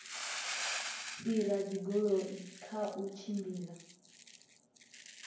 fhira dzigoloi kha u tshimbila